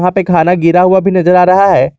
वहां पे खाना गिरा हुआ भी नजर आ रहा है।